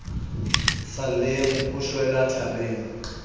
sa lleng o shwela tharing